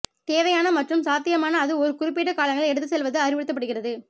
தேவையான மற்றும் சாத்தியமான அது ஒரு குறிப்பிட்ட காலங்களில் எடுத்துச்செல்வது அறிவுறுத்தப்படுகிறது